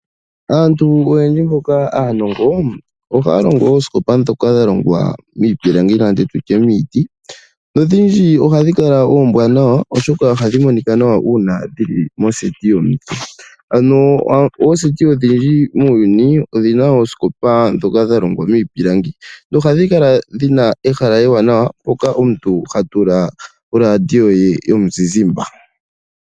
Aantu oyendji mboka aanongo, ohaya longo ooskopa dhoka dha longwa miipilange nenge nditye miiti, no dhidji ohadhi kala oombwanawa, oshoka ohadhi kala tadhi monika nawa uuna dhili mondunda yoku kuutumba, ano oondunda dhoku kuutumba muuyuni odhina ooskopa dhoka dha longwa miipilangi na ohadhi kala dhina ehala ewanawa, mpoka omuntu ha tula oradio ye yomuzizimba.